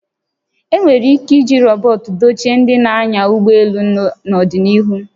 E nwere ike iji rọbọt dochie ndị na-anya ụgbọ elu n'ọdịnihu